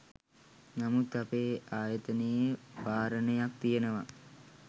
නමුත් අපේ ආයතනයේ වාරණයක් තියෙනවා